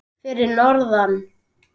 Fyrir norðan?